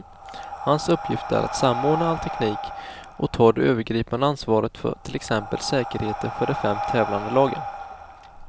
Hans uppgift är att samordna all teknik och ta det övergripande ansvaret för till exempel säkerheten för de fem tävlande lagen.